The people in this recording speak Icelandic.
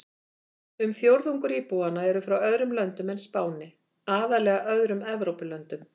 Um fjórðungur íbúanna eru frá öðrum löndum en Spáni, aðallega öðrum Evrópulöndum.